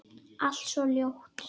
Allt svo ljótt.